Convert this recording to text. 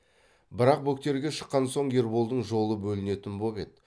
бірақ бөктерге шыққан соң ерболдың жолы бөлінетін боп еді